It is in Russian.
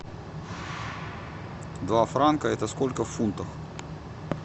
два франка это сколько фунтов